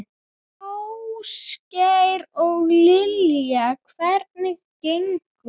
Ásgeir: Og Lilja, hvernig gengur?